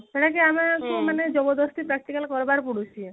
ସେଇତାକି ଆମକୁ ମାନେ ଜବରଦସ୍ତି practical କରିବାର ପଡୁଛି